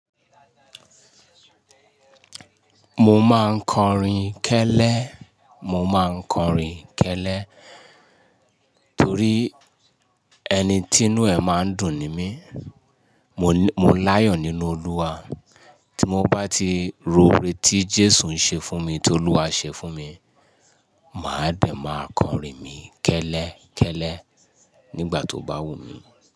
Mo máa ń kọrin kẹ́lẹ́, mo máa ń kọrin kẹ́lẹ́ torí ẹni tí inú ẹ̀ máa ń dùn ni mí. Mo láyọ̀ nínú Olúwa, tí mo bá ti rò óore tí Jésù ń ṣe fún mi tí Olúwa ṣe fún mi, màá dẹ̀ máa kọrin mi kẹ́lẹ́, kẹ́lẹ́ nígbà tó bá wù mí.